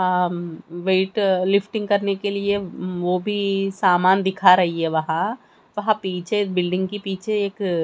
उम्म weight lifting करने के लिए उम्म वो भी सामान दिखा रही है वहां वहां पीछे बिल्डिंग के पीछे एक--